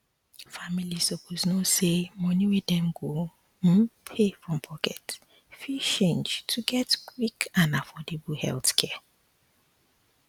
families suppose know say money wey dem go um pay from pocket fit change to get quick and affordable um healthcare